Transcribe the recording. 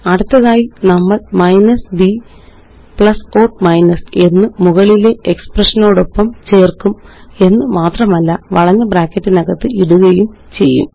അടുത്തതായി നമ്മള്minus b plus or minus എന്ന് മുകളിലെ എക്സ്പ്രഷനോടൊപ്പം ചേര്ക്കും എന്നുമാത്രമല്ല വളഞ്ഞ ബ്രാക്കറ്റിനകത്ത് ഇടുകയും ചെയ്യും